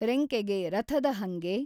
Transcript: ರೆಂಕೆಗೆ ರಥಧ ಹಂಗೆ?